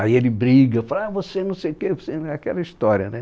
Aí ele briga, fala ah, você não sei o quê você, aquela história, né?